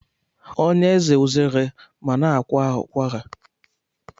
Ọ na-eze uzere ma na-akwa ụkwara?